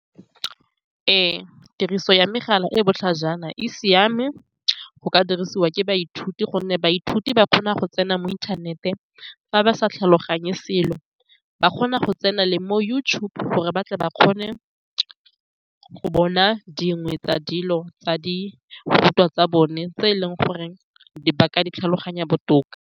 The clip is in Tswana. Ee, tiriso ya megala e e botlhajana e siame. Go ka dirisiwa ke baithuti ka gonne baithuti ba kgona go tsena mo inthaneteng. Fa ba sa tlhaloganye selo, ba kgona go tsena le mo YouTube gore ba batle ba kgone go bona dingwe tsa dilo tsa dirutwa tsa bone tse e leng gore ba ka di tlhaloganya botoka.